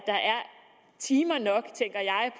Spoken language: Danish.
timer nok